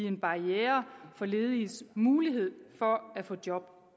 en barriere for lediges muligheder for at få job